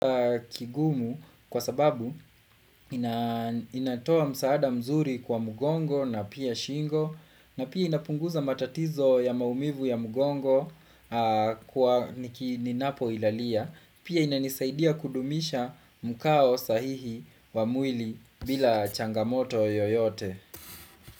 Kigumu kwa sababu inatoa msaada mzuri kwa mgongo na pia shingo na pia inapunguza matatizo ya maumivu ya mgongo kwa niki ninapo ilalia Pia inanisaidia kudumisha mkao sahihi wa mwili bila changamoto yoyote.